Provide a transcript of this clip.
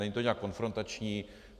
Není to nějak konfrontační.